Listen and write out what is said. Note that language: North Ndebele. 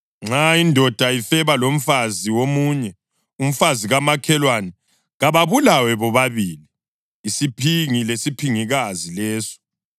Nxa indoda ifeba lomfazi womunye, umfazi kamakhelwane, kababulawe bobabili isiphingi lesiphingikazi leso.